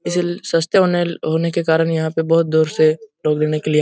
इसलिए सस्ते होनेल होने के कारण ही यहाँ पे बहुत दूर से लोग लेने के लिए --